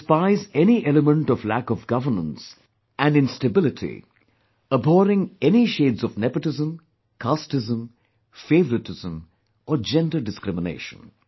They despise any element of lack of governance and instability; abhorring any shades of nepotism, casteism, favouritism or gender discrimination